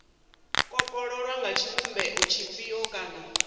kopololwa nga tshivhumbeo tshifhio kana